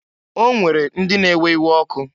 O nwere ndị na-ewe iwe ọkụ.